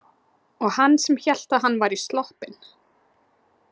Og hann sem hélt að hann væri sloppinn!